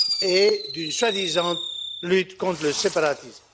et d'une soi disant lutte contre le séparatisme.